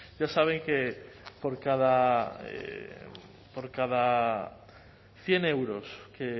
ya saben que por cada cien euros que